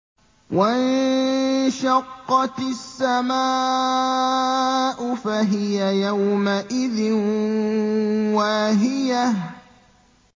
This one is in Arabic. وَانشَقَّتِ السَّمَاءُ فَهِيَ يَوْمَئِذٍ وَاهِيَةٌ